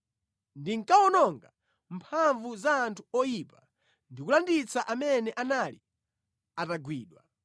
Ndinkawononga mphamvu za anthu oyipa ndi kulanditsa amene anali atagwidwa.